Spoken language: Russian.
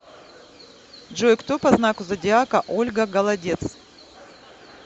джой кто по знаку зодиака ольга голодец